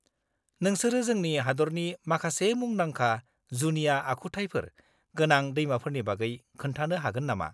-नोंसोरो जोंनि हादरनि माखासे मुंदांखा जुनिया आखुथायफोर गोनां दैमाफोरनि बागै खोन्थानो हागोन नामा?